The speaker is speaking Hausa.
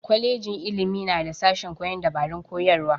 Kwajejin ilimi na da sashen koyon dabarun koyarwa.